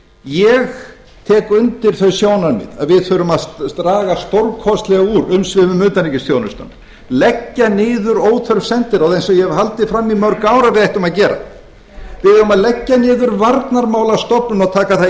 ég tek undir þau sjónarmið að við þurfum að draga stórkostlega úr umsvifum utanríkisþjónustunnar leggja niður óþörf sendiráð eins og ég hef haldið fram í mörg ár að við ættum að gera við eigum að leggja niður varnarmálastofnun og taka það